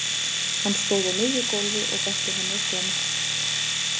Hann stóð á miðju gólfi og benti henni að koma.